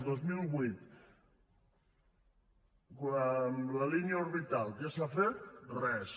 el dos mil vuit la línia orbital què s’ha fet res